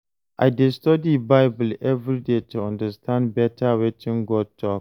I dey study Bible every day to understand better wetin God talk